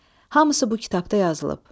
Hamısı bu kitabda yazılıb.